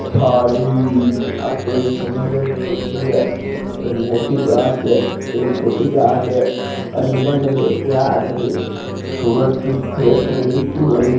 थारवी आतो एक समुन्दर फोटो है एक मोटी जहाज है एक छोटी जहाज है सूरज की फेस दिखी कोनी --